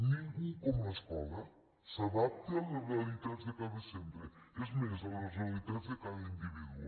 ningú com l’escola s’adapta a les realitats de cada centre és més a les realitats de cada individu